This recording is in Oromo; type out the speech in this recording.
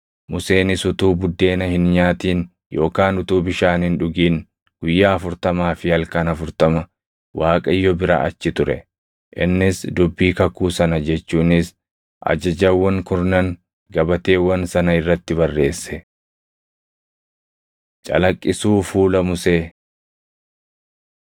Museenis utuu buddeena hin nyaatin yookaan utuu bishaan hin dhugin guyyaa afurtamaa fi halkan afurtama Waaqayyo bira achi ture. Innis dubbii kakuu sana jechuunis Ajajawwan Kurnan gabateewwan sana irratti barreesse. Calaqqisuu Fuula Musee